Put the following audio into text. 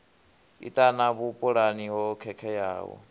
i ṱana vhupulani ho khakheaho